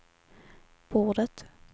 bordet